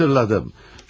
Aaa, xatırladım.